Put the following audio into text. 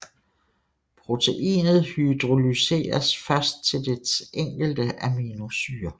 Proteinet hydrolyseres først til dets enkelte aminosyre